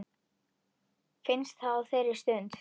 Finnst það á þeirri stund.